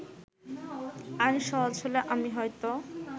আইন সহজ হলে আমি হয়তো